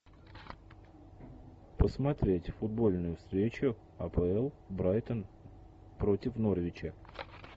посмотреть футбольную встречу апл брайтон против норвича